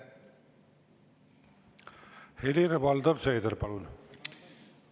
Helir-Valdor Seeder, palun!